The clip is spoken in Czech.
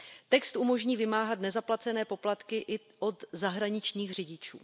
Text umožní vymáhat nezaplacené poplatky i od zahraničních řidičů.